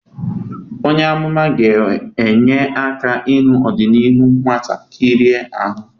Onye amụma ga-enye aka ịhụ ọdịnihu nwata kịrị ahụ.